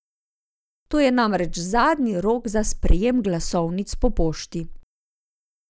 To je namreč zadnji rok za sprejem glasovnic po pošti.